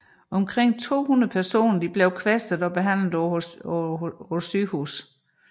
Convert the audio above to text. Omkring 200 personer blev kvæstet og behandlet på hospitalerne